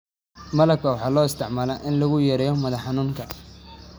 malab waxaa loo isticmaalaa in lagu yareeyo madax xanuunka.